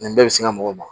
Nin bɛɛ bɛ se n ka mɔgɔw ma